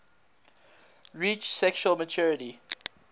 reach sexual maturity